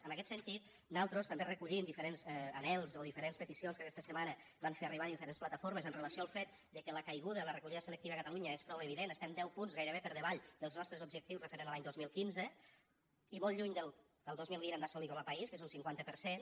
en aquest sentit nosaltres també recollim diferents anhels o diferents peticions que aquesta setmana van fer arribar diferents plataformes amb relació al fet de que la caiguda en la recollida selectiva a catalunya és prou evident estem deu punts gairebé per davall dels nostres objectius amb referència a l’any dos mil quinze i molt lluny del que el dos mil vint hem d’assolir com a país que és un cinquanta per cent